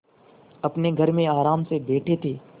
अपने घर में आराम से बैठे थे